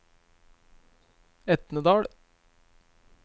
Etnedal